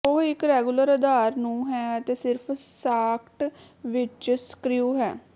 ਉਹ ਇੱਕ ਰੈਗੂਲਰ ਆਧਾਰ ਨੂੰ ਹੈ ਅਤੇ ਸਿਰਫ਼ ਸਾਕਟ ਵਿੱਚ ਸਕ੍ਰਿਊ ਹੈ